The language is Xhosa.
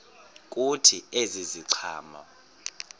kuthi ezi ziqhamo